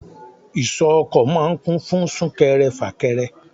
Ìsọ̀ ọkọ̀ máa ń kún fún sún kẹrẹ, fà kẹrẹ.